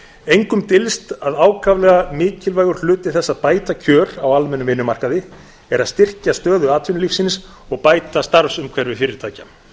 engum dylst að ákaflega mikilvægur hluti þess að bæta kjör á almennum vinnumarkaði er að styrkja stöðu atvinnulífsins og bæta starfsumhverfi fyrirtækja